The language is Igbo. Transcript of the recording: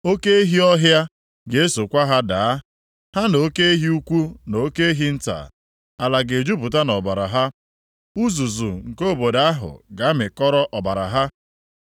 Oke ehi ọhịa ga-esokwa ha daa, ha na oke ehi ukwu na oke ehi nta. Ala ga-ejupụta nʼọbara ha. Uzuzu nke obodo ahụ ga-amịkọrọ ọbara ha.